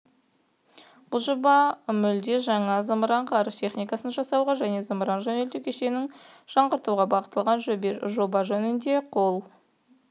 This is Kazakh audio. бұл жоба мүлде жаңа зымыран-ғарыш техникасын жасауға және зымыран жөнелту кешенін жаңғыртуға бағытталған жоба жөнінде қол